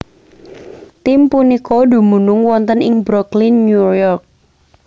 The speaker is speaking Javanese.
Tim punika dumunung wonten ing Brooklyn New York